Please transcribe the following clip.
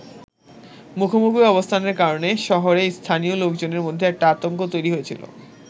মুখোমুখি অবস্থানের কারণে শহরে স্থানীয় লোকজনের মধ্যে একটা আতঙ্ক তৈরি হয়েছিলো।